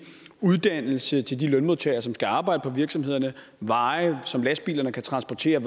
uddannelse til de lønmodtagere som skal arbejde på virksomhederne veje som lastbilerne kan transportere